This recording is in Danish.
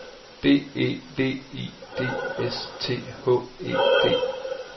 B E V I D S T H E D